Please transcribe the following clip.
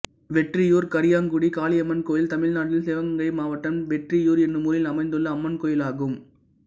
வெற்றியூர் கரியாங்குடி காளியம்மன் கோயில் தமிழ்நாட்டில் சிவகங்கை மாவட்டம் வெற்றியூர் என்னும் ஊரில் அமைந்துள்ள அம்மன் கோயிலாகும்